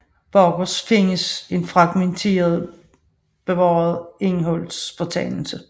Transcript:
Bagerst findes en fragmentarisk bevaret indholdsfortegnelse